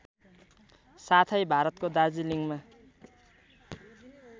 साथै भारतको दार्जिलिङमा